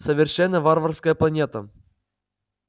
совершенно варварская планета